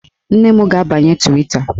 Nne m ga-abanye Twita